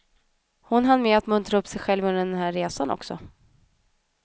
Hon hann med att muntra upp sig själv under den här resan också.